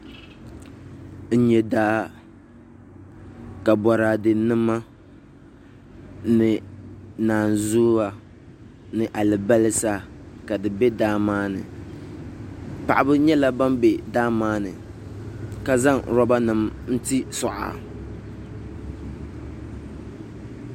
N nyɛ daa ka boraadɛ nima ni naazuwa ni alibarisa ka di bɛ daa maa ni paɣaba nyɛla ban bɛ daa maa ni ka zaŋ roba nim n ti suɣa